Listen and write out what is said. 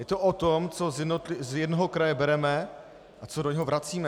Je to o tom, co z jednoho kraje bereme a co do něj vracíme.